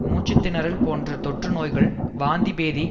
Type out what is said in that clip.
மூச்சு திணறல் போன்ற தொற்று நோய்கள் வாந்திபேதி